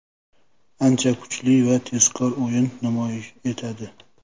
Ancha kuchli va tezkor o‘yin namoyish etadi.